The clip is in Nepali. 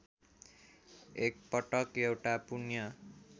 एकपटक एउटा पुण्य